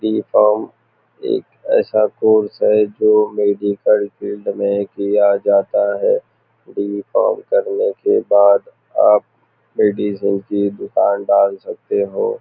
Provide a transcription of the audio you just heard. B com एक ऐसा course है जो मेडिकल फील्ड में किया जाता है बी कॉम करने के बाद आप मेडिसिन की दुकान डाल सकते हो।